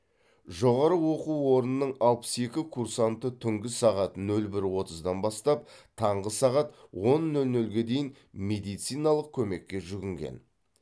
жоғары оқу орнының алпыс екі курсанты түнгі сағат нөл бір отыздан бастап таңғы сағат он нөл нөлге дейін медициналық көмекке жүгінген